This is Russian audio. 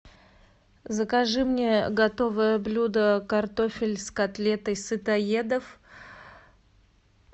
закажи мне готовое блюдо картофель с котлетой сытоедов